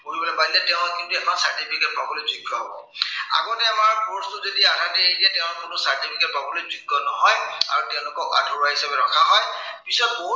পঢ়িবলৈ নোৱাৰিলে, তেওঁ কিন্তু এখন certificate পাবলৈ যোগ্য় হব। আগতে আমাৰ course টো যদি আধাতে এৰি দিয়ে তেওঁ কোনো certificate পাবলৈ যোগ্য় নহয়, আৰু তেঁওলোকক আধৰুৱা হিচাপে ৰখা হয়। পিছত বহুত